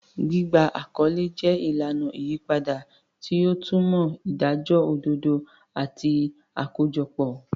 Gbígba àkọlé jẹ́ ìlànà ìyípadà, tí ó tẹnumọ́ ìdájọ́ òdodo àti àkójọpọ̀.